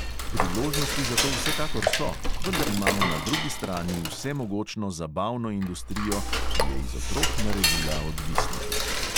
Priložnosti za to vsekakor so, vendar imamo na drugi strani vsemogočno zabavno industrijo, ki je iz otrok naredila odvisnike.